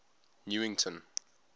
newington